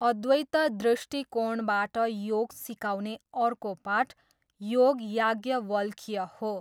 अद्वैत दृष्टिकोणबाट योग सिकाउने अर्को पाठ योग याज्ञवल्क्य हो।